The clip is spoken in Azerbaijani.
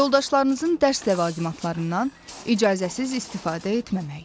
Yoldaşlarınızın dərs ləvazimatlarından icazəsiz istifadə etməmək.